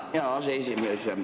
Tänan, hea aseesimees!